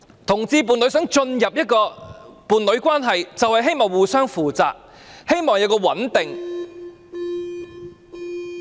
同志伴侶想進入伴侶關係，便是希望互相負責，希望穩定。